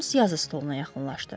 Holmes yazı stoluna yaxınlaşdı.